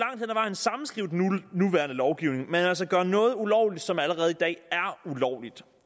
sammenskrive den nuværende lovgivning men altså gøre noget ulovligt som allerede i dag er ulovligt